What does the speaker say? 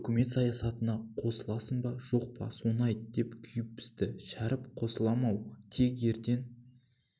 үкімет саясатына қосыласың ба жоқ па соны айт деп күйіп-пісті шәріп қосылам-ау тек ертең